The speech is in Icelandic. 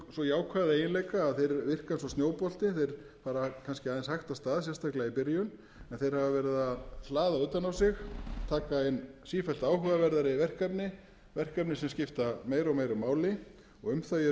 svo jákvæða eiginleika þeir fara kannski aðeins hægt af stað sérstaklega í byrjun en þeir hafa verið að hlaða utan á sig taka inn sífellt áhugaverðari verkefni verkefni sem skipta meira og meira og um þau er mikil ánægja